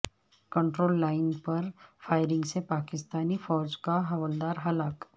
control line firing فائرنگ سے پاکستانی فوج کا حوالدار ہلاک